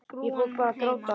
Ég fór bara að gráta.